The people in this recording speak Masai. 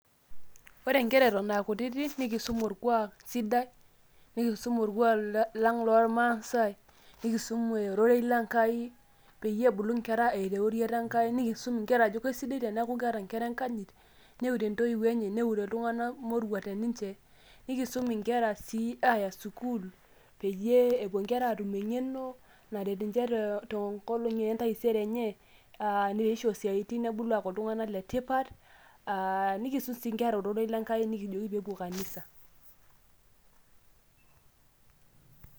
Ore nkera eton akutiti, nikisum orkuak sidai, nikisum orkuak lang' lormasai, nikisum ororei le Nkai, peyie ebulu nkera eeta euriata Enkai. Nikisum inkera ajo kesidai teneeku keeta nkera enkanyit, neure ntoiwuoi enye, neure iltung'anak moruak teninche. Nikisum inkera si ayata sukuul, peyie epuo nkera atum eng'eno naret ninche tenkolong' entaisere enye, ah neisho siaitin nebulu aku iltung'anak letipat. Ah nikisum si nkera ororei le Nkai nikijoki pepuo kanisa.